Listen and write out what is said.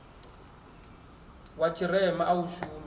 wa tshirema a u shumi